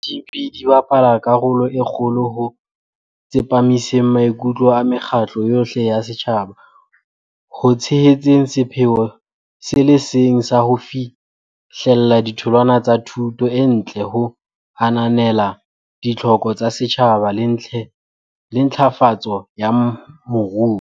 O itse di SGB di bapala karolo e kgolo ho tsepamiseng maikutlo a mekgatlo yohle ya setjhaba ho tshehetseng sepheo se le seng sa ho fihlella ditholwana tsa thuto e ntle ho ananela ditlhoko tsa setjhaba le ntlafatso ya moruo.